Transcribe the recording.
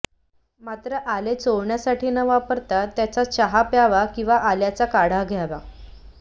मात्र आले चोळण्यासाठी न वापरता त्याचा चहा प्यावा किंवा आल्याचा काढा घ्यावा